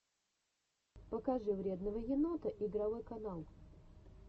покажи вредного енота игровой канал